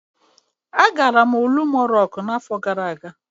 Agara m Olumo Rocku n'afọ gara aga.